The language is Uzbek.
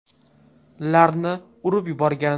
larni urib yuborgan.